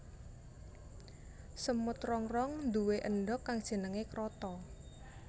Semut rangrang nduwe endhog kang jenengé kroto